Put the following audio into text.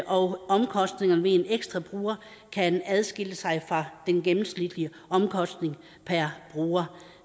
og omkostningerne ved en ekstra bruger kan adskille sig fra den gennemsnitlige omkostning per bruger